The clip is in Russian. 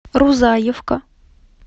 рузаевка